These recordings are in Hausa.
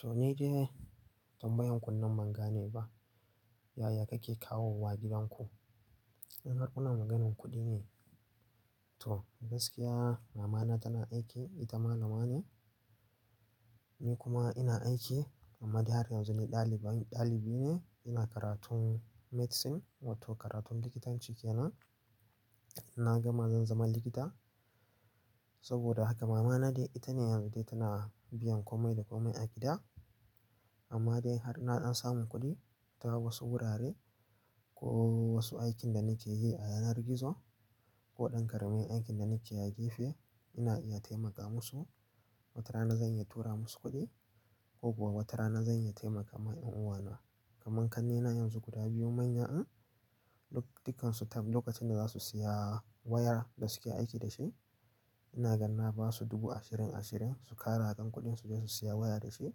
To, ni dai, tambayan kunnen magana ne ba yaya kake kawo wa gidan ku. Har ƙuna maganin kuɗi ne. To gaskiya, mama na tana aiki, ita malama ne. Ni kuma ina aiki, amma dai har yanzu ni ɗaliban ɗalibi ne. Ina karatun medicine, wato karatun likitanci kenan. Na gama zan zama likita. Saboda haka mama na dai ita ne har yanzu dai tana biyan komai da komai a gida. Amma dai har naɗan samun kuɗi, ta wasu wurare, ko wasu aikin da nake yi a yanar gizo, ko ɗan ƙaramin aikin da nake yi a gefe ina iya taimaka musu. Watarana zan iya tura musu kuɗi, ko kuwa watarana zan iya taimaka ma ƴan uwana. Kaman kannena yanzu guda biyu manya din, duk dukansu lokacin da za su siya wayar da suke aiki da shi. Ina ganna ba su dubu ashirin ashirin su ƙara a kan kuɗin su je su siya waya da shi.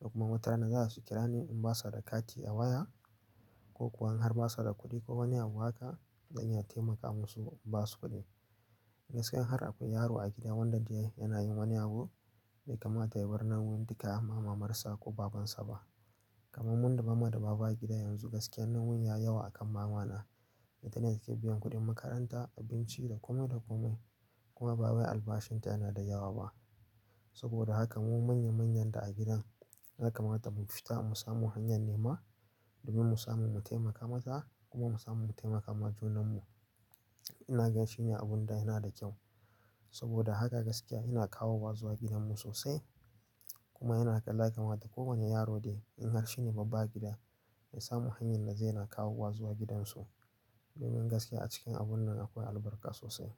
Duk kuma watarana za su kira ni in ba su da kati a waya, ko kuwa in har ba su da kuɗi ko wani abu haka, zan iya taimaka musu in ba su kuɗi. Gaskiya in har akwai yaro a gida wanda dai yana yin wani abu, dai kama tayi birnin duka amma mamarsa ko babansa ba. Kaman mun da mama da baba a gida yanzu gaskiya nauyin yayi yawa akan mama na. Ita ne take biyan kuɗin makaranta, abinci da kumai da komai. Kuma babba albashin ta yana da yawa ba. Saboda haka mu manya manyan da a gidan, haka mata mun fita mu samo hanyar nema domin mu samu mu taimaka mata kuma mu samu mu taimaka ma junan mu. Ina gan shi ne abun da yana da kyau. Saboda haka gaskiya ina kawo wa zuwa gidan mu sosai. Kuma yana kan laka mata kowane yaro dai, in har shi ne babba gida, ya samu hanyar da zai na kawo wa zuwa gidan su. Domin gaskiya a cikin abun nan akwai albarka sosai.